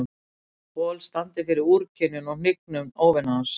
Paul standi fyrir úrkynjun og hnignun óvina hans.